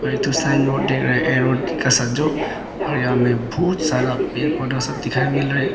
जो और यहाँ में बहुत सारा पेड़ पौधा सब दिखाई मिल रहा है।